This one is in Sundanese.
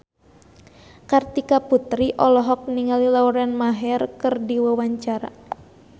Kartika Putri olohok ningali Lauren Maher keur diwawancara